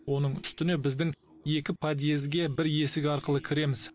оның үстіне біздің екі подъезге бір есік арқылы кіреміз